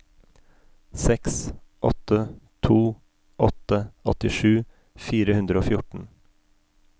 seks åtte to åtte åttisju fire hundre og fjorten